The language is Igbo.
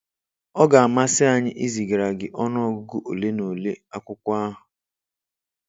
Ọ ga amasi anyị izigara gị ọnụ ọgụgụ ole na ole akwụkwọ ahụ